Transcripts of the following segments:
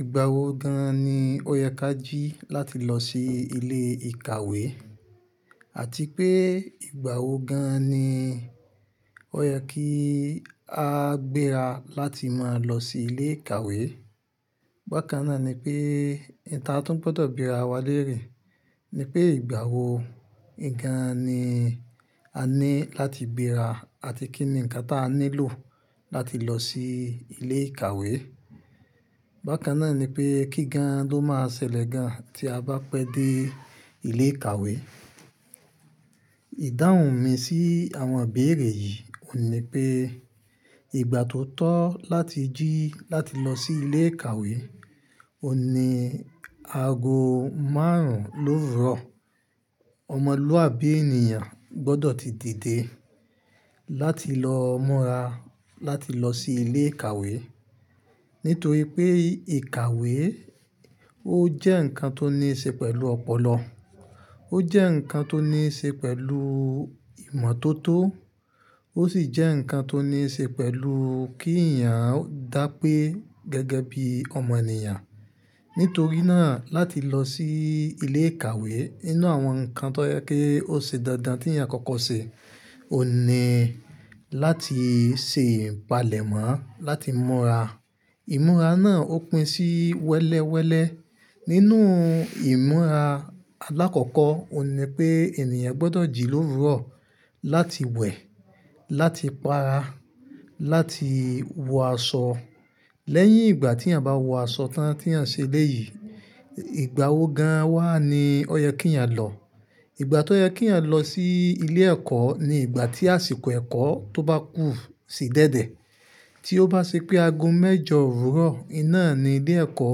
Ìgbà wo gan ní ó yẹ ká jí láti lọ sí ilé ìkàwé àti pé ìgbà wo gan ní ó yẹ kí á gbéra láti máa lọ sí ilé ìkàwé? Bákan náà ni pé ìta tún gbọ́dọ̀ bira wa léèrè ni pé ìgbà wo gan ni a ní láti béra àti kí ni nǹkan tí a nílò láti lọ sí ilé ìkàwé. Bákan náà ni pé kí gan ló máa ṣẹlẹ̀ gan tí a bá pẹ́ dé ilé ìkàwé. Ìdáhùn mi sí àwọn ìbéèrè yìí ò ní pé ìgbà tó tọ́ láti jí láti lọ sí ilé ìkàwé ò ní aago márùn-ún lówurọ̀. Ọmọlúàbí ènìyàn gbọ́dọ̀ ti dìde láti lọ mọ́ra láti lọ sí ilé ìkàwé. Nítorí pé ìkàwé ó jẹ́ ǹkan tó ní í ṣe pẹ̀lú ọ̀pọ̀lọ, ó jẹ́ ǹkan tó ní í ṣe pẹ̀lú ìmọ̀tótó, ó sì jẹ́ ǹkan tó ní í ṣe pẹ̀lú kí èèyàn dá pé gẹ́gẹ́ bí ọmọ ènìyàn. Nítorí náà láti lọ sí ilé ìkàwé, inú àwọn ǹkan tó yẹ kí ó ṣe dáadáa tí èèyàn kọ́kọ́ ṣe ò ní láti se ìpalẹ̀mọ́ láti múra. Ìmúra náà ó pín sí wẹ́lẹ́wẹ́lẹ́. Nínú ìmúra alákọ̀ọ́kọ́ ò ní pé èèniyàn gbọ́dọ̀ jì lówurọ̀ láti wẹ̀, láti pa ara, láti wọ aṣọ. Lẹ́yìn ìgbà tí èèyàn bá wọ aṣọ tán tí èèyàn ṣe lẹ́ yìí, ìgbà wo gan wà ní ó yẹ kí èèyàn lọ. Ìgbà tó yẹ kí èèyàn lọ sí ilé ẹ̀kọ́ ni ìgbà tí àsìkò ẹ̀kọ́ tó bá kù sì dẹ̀dẹ̀. Tí ó bá ṣe pé aago mẹ́jọ òwúrọ̀, iná ni ilé ẹ̀kọ́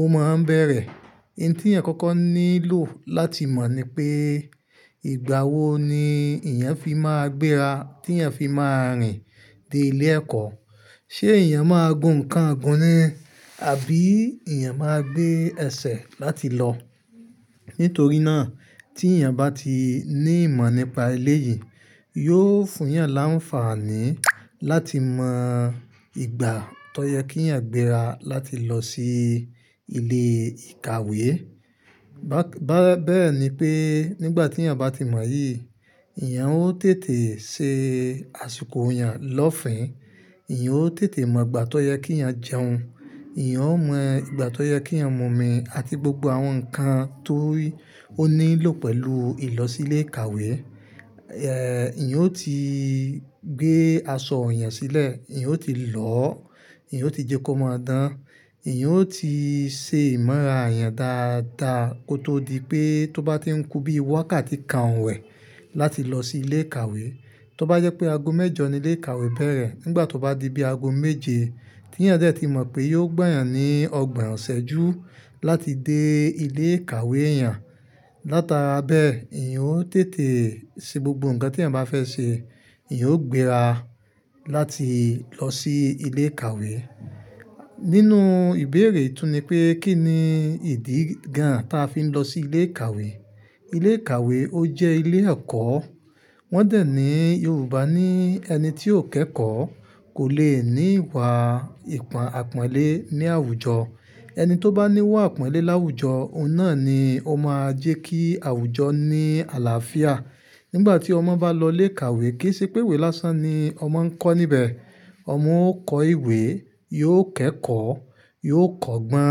ó máa n bẹ̀rẹ̀. In tí yàn kọ́kọ́ nílò láti mọ̀ ni pé ìgbà wo ni èèyàn fi máa gbéra, tí èèyàn fi máa rìn dé ilé ẹ̀kọ́. Ṣé èèyàn máa gun nǹkan ogun ni àbí èèyàn máa gbé ẹsẹ̀ láti lọ. Nítorí náà tí èèyàn bá ti ní ìmọ̀ nípa eleyìí, yóò fún èèyàn l'áǹfààní láti mọ ìgbà tó yẹ kí èèyàn gbéra láti lọ sí ilé ìkàwé. Bák-- bẹ́ẹ̀ ni pé nígbà tí èèyàn bá ti mọ̀ yìí, èèyàn ó tètè ṣe àsìkò èèyàn lọ́fìn, èèyàn ó tètè mọ ìgbà tó yẹ kí èèyàn jẹun, èèyàn ó mọ ìgbà tó yẹ kí èèyàn mo mí àti gbogbo àwọn ǹkan tó nílò pẹ̀lú ì lọ sí ilé ìkàwé. Ẹ̀, èèyàn ó ti gbé aṣọ rẹ̀ sílẹ̀, èèyàn ó ti lọ́, èèyàn ó ti jẹ kó máa dán, èèyàn ó ti ṣe ìmọ̀ra rẹ̀ dáadáa kó tó di pé tó bá ti ń kú bí i waká ti ka òun wẹ̀ láti lọ sí ilé ìkàwé. Tó bá jẹ́ pé aago mẹ́jọ ni ilé ìkàwé bẹ̀rẹ̀, nígbà tó bá di bí i aago méje, tí èèyàn dẹ̀ ti mọ̀ pé yóò gbayàn ní ọgbọ̀n ọ̀sẹ̀ ju láti dé ilé ìkàwé èèyàn. Látara bẹ́ẹ̀, èèyàn ó tètè ṣe gbogbo ǹkan tí èèyàn bá fẹ́ ṣe, èèyàn ó gbéra láti lọ sí ilé ìkàwé. Nínú ìbéèrè tún ni pé kí ni ìdí gan ta fi ń lọ sí ilé ìkàwé. Ilé ìkàwé ó jẹ́ ilé ẹ̀kọ́. Wọ́n dẹ̀ ní Yorùbá ní ẹni tí ò kẹ́kọ̀ọ́ kò le ní ìwà ìpàn-àpọ̀nlé ní àwùjọ. Ẹni tó bá ní ìwà àpọ̀nlé láwùjọ, òun náà ni ó máa jẹ́ kí àwùjọ ní àlàáfíà. Nígbà tí ọmọ bá lọ ilé ìkàwé, kì í ṣe pé ìwé lásán ni ọmọ ń kọ́ níbẹ̀. Ọmọ ó kọ ìwé, yóò kẹ́kọ̀ọ́, yóò kọ́gbọ́n.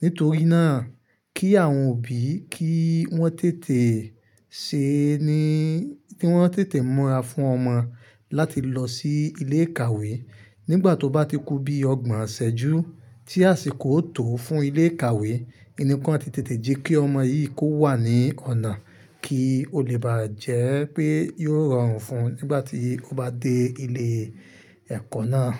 Nítorí náà kí àwọn òbí kí wọ́n tètè ṣe ni-- kí wọ́n tètè múra fún ọmọ láti lọ sí ilé ìkàwé. Nígbà tó bá ti kú bí i ọgbọ̀n ọ̀sẹ̀ ju tí àsìkò ó tò fún ilé ìkàwé, ni kan ti tètè jẹ́ kí ọmọ yìí kó wà ní ọ̀nà kí ó lè bá jẹ́ pé yóò rọrùn fún un nígbà tí ó bá dé ilé ẹ̀kọ́ náà.